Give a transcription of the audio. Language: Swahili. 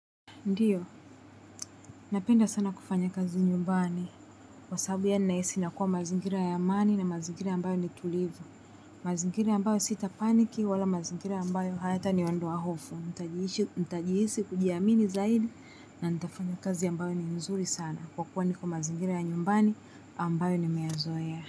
Ndiyo, napenda sana kufanya kazi nyumbani. Kwa sababu yani nahisi nakuwa mazingira ya amani na mazingira ya ambayo ni tulivu. Mazingira ambayo sita paniki wala mazingira ya ambayo hayata ni ondoa hofu. Ntajiisi kujiamini zaidi na nitafanya kazi ambayo ni nzuri sana. Kwa kuwa niko mazingira ya nyumbani ambayo nimeya zoea.